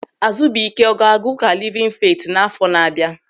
Azubike ọ ga-aga Ụka Livin Feeti n'àfọ́ na bịa?